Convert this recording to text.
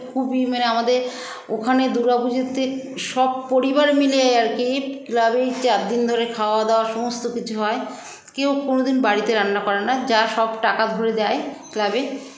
খুবই মানে আমাদের ওখানে দূর্গাপূজোতে সব পরিবার মিলে আরকি club -এই চারদিন ধরে খাওয়া দাওয়া সমস্ত কিছু হয় কেউ কোনোদিন বাড়িতে রান্না করেনা যা সব টাকা ধরে দেয় club -এ